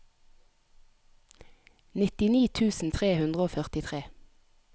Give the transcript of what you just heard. nittini tusen tre hundre og førtitre